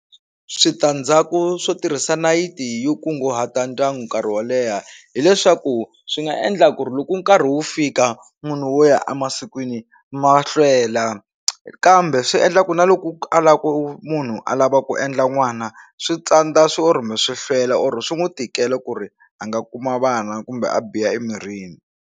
Switandzhaku swo tirhisa nayiti yo kunguhata ndyangu nkarhi wo leha hileswaku swi nga endla ku ri loko nkarhi wu fika munhu wo ya emasikwini ma hlwela kambe swi endla ku na loko a lava ku munhu a lava ku endla n'wana swi tsandza or kumbe swi hlwela or swi n'wi tikela ku ri a nga kuma vana kumbe a biha emirini.